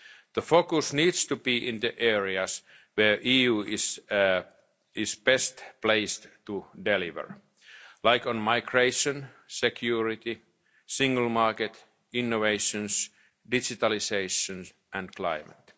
share. The focus needs to be in the areas where the EU is best placed to deliver, such as migration, security, the single market, innovation, digitalisation and